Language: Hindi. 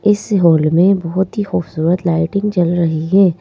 इस हॉल में बहुत ही खूबसूरत लाइटिंग जल रही है।